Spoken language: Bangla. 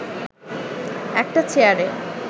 একটি চেয়ারে